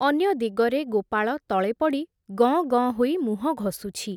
ଅନ୍ୟ ଦିଗରେ ଗୋପାଳ ତଳେ ପଡ଼ି ଗଁ ଗଁ ହୋଇ ମୁହଁ ଘଷୁଛି ।